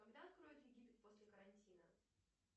когда откроют египет после карантина